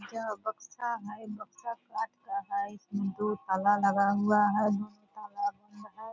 यहाँ बक्सा है बक्सा काठ का है। इसमें दो ताला लगा हुआ है। दोनों ताला बंद है।